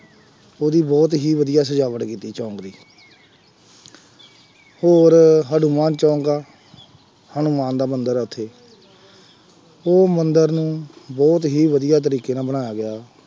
ਉਹਦੀ ਬਹੁਤ ਹੀ ਵਧੀਆ ਸਜਾਵਟ ਕੀਤੀ ਜਹਾਜ਼ ਦੀ, ਹੋਰ ਹਨੂੰਮਾਨ ਚੋਂਕ ਆ, ਹਨੂੰਮਾਨ ਦਾ ਮੰਦਿਰ ਆ ਉੱਥੇ, ਉਹ ਮੰਦਿਰ ਨੂੰ ਬਹੁਤ ਹੀ ਵਧੀਆ ਤਰੀਕੇ ਨਾਲ ਬਣਾਇਆ ਗਿਆ।